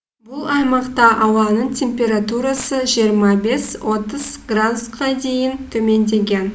бұл аймақта ауаның температурасы жиырма бес отыз градусқа дейін төмендеген